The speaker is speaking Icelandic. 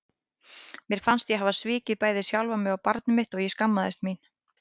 Mér fannst ég hafa svikið bæði sjálfa mig og barnið mitt og ég skammaðist mín.